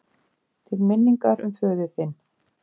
Til minningar um föður þinn.